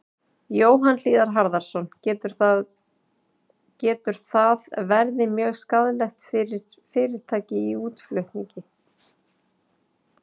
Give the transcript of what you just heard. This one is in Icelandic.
Jóhann Hlíðar Harðarson: Getur það verði mjög skaðlegt fyrir fyrirtæki í útflutningi?